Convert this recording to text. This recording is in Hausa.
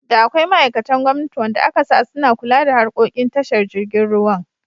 Da akwai ma'aikatan gwamnati wanda akasa suna kula da harkokin tashar jirgin ruwan.